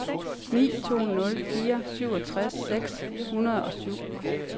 ni to nul fire syvogtres seks hundrede og syv